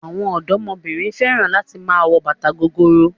Àwọn ọ̀dọ́mọbìnrin fẹ́ràn láti máa wọ bàtà gogoro.